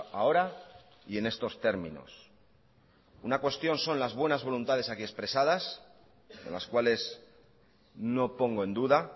ahora y en estos términos una cuestión son las buenas voluntades aquí expresadas las cuales no pongo en duda